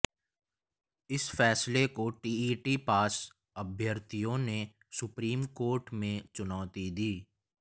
इस फैसले को टीईटी पास अभ्यर्थियों ने सुप्रीम कोर्ट में चुनौती दी